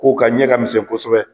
K'o ka ɲɛn ka misɛn kosɛbɛ.